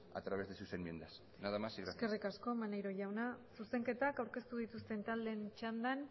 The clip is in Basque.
a través de sus enmiendas nada más y gracias eskerrik asko maneiro jauna zuzenketak aurkeztu dituzten taldeen txandan